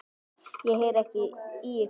Ég heyri ekki í ykkur.